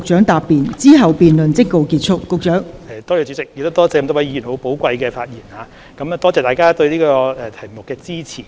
代理主席，首先多謝各位議員寶貴的發言，亦多謝大家對這個議題的支持。